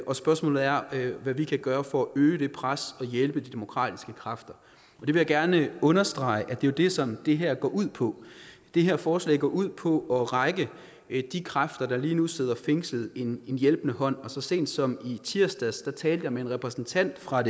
og spørgsmålet er hvad vi kan gøre for at øge det pres og hjælpe de demokratiske kræfter jeg vil gerne understrege at det jo er det som det her går ud på det her forslag går ud på at række de kræfter der lige nu sidder fængslet en hjælpende hånd så sent som i tirsdags talte jeg med en repræsentant fra